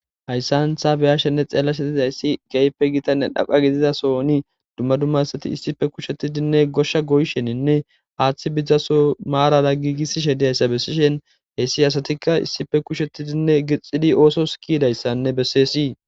hayssan ta beyashenne xeellashe dizayssi keype gitanne dhaqa gizizasoni dumma dumma asati issife kushettidinne goshsha goysheninne haaththi bizaso maarara giigissishe diyayssa bessishen heyssi asatikka issife kushettidinne gixxidi ooso skiydayssanne besseesii